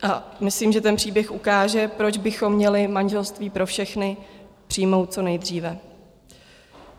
A myslím, že ten příběh ukáže, proč bychom měli manželství pro všechny přijmout co nejdříve.